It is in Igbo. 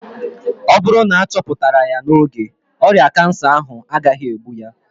Ọ bụrụ na achoputara ya n'oge, ọrịa kansa ahụ agaghị egbu ya